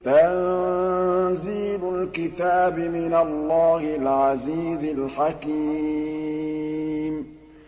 تَنزِيلُ الْكِتَابِ مِنَ اللَّهِ الْعَزِيزِ الْحَكِيمِ